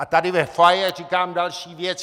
A tady ve foyer říkám další věc.